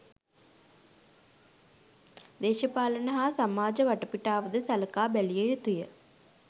දේශපාලන හා සමාජ වටපිටාවද සලකා බැලිය යුතුය.